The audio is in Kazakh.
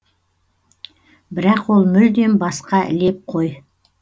бірақ ол мүлдем басқа леп қой